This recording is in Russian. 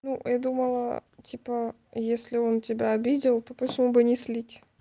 ну я думала типа если он тебя обидел то почему бы не слить